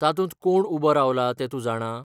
तातूंत कोण उबो रावला तें तूं जाणा?